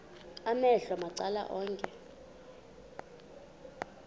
amehlo macala onke